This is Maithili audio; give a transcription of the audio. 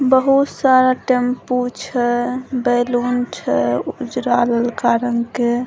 बहुत सारा टेम्पू छै बैलून छै ऊजरा-ललका रंग के ।